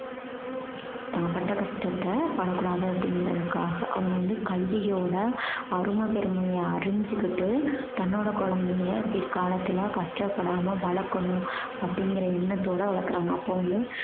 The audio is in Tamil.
தான் பட்ட கஷ்டத்த படக்கூடாது அப்படீங்கறதுக்காக. அவங்க வந்து கல்வியோட அருமை பெருமைய அறிஞ்சுகிட்டு தன்னோட குழந்தைய பிற்காலத்துல கஷ்டப்படாம வளர்க்கணும் அப்படீங்கற எண்ணத்தோட வளர்க்கறாங்க. அப்போ வந்து